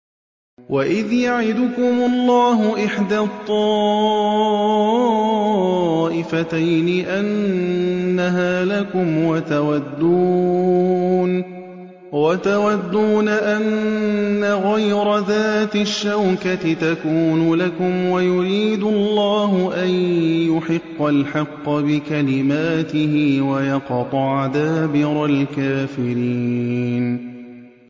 وَإِذْ يَعِدُكُمُ اللَّهُ إِحْدَى الطَّائِفَتَيْنِ أَنَّهَا لَكُمْ وَتَوَدُّونَ أَنَّ غَيْرَ ذَاتِ الشَّوْكَةِ تَكُونُ لَكُمْ وَيُرِيدُ اللَّهُ أَن يُحِقَّ الْحَقَّ بِكَلِمَاتِهِ وَيَقْطَعَ دَابِرَ الْكَافِرِينَ